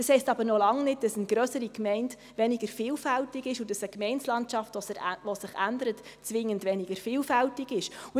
Das heisst aber noch lange nicht, dass eine grössere Gemeinde weniger vielfältig ist und dass eine Gemeindelandschaft, die sich ändert, zwingend weniger vielfältig ist.